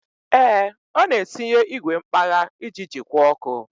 Ee, ọ na-etinye igwe mkpagha iji jikwa ọkụ.